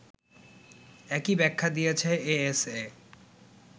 একই ব্যাখ্যা দিয়েছে এএসএ